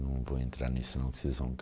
Não vou entrar nisso, senão vocês vão